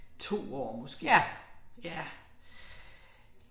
2 år måske. Ja